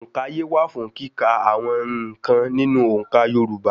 Ònkaye wà fún kíkà àwọn n̄ǹkan nínú òǹkà Yorùbá.